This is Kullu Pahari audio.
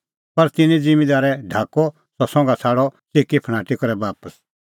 पर तिन्नैं ज़िम्मींदारै ढाकअ सह संघा छ़ाडअ च़िकीफणाटी करै बापस